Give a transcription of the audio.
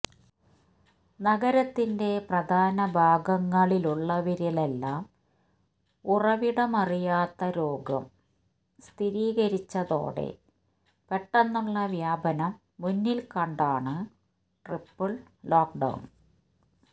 നഗരത്തിന്റെ പ്രധാന ഭാഗങ്ങളിലുള്ളവരിലെല്ലാം ഉറവിടമറിയാത്ത രോഗം സ്ഥിരീകരിച്ചതോടെ പെട്ടെന്നുള്ള വ്യാപനം മുന്നിൽക്കണ്ടാണ് ട്രിപ്പിൾ ലോക്ക്ഡൌൺ